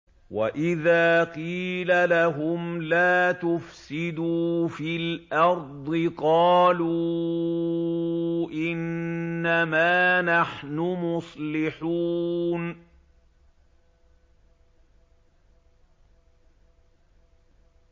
وَإِذَا قِيلَ لَهُمْ لَا تُفْسِدُوا فِي الْأَرْضِ قَالُوا إِنَّمَا نَحْنُ مُصْلِحُونَ